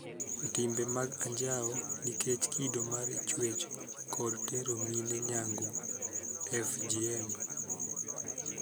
Timbe mag anjao nikech kido mar chuech, kod tero mine nyangu (FGM)